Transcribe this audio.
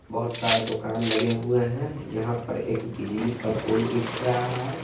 बहोत सारे दुकान लगे हुए है यहां पर एक बिजली का पोल भी दिख रहा है।